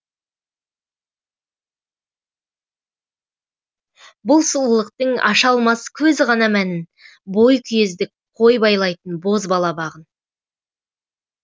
бұл сұлулықтың аша алмас көз ғана мәнін бойкүйездік қой байлайтын бозбала бағын